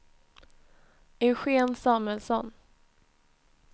Eugen Samuelsson